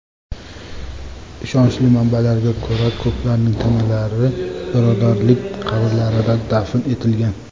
Ishonchli manbalarga ko‘ra, ko‘plarning tanalari birodarlik qabrlarida dafn etilgan.